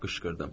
Qışqırdım.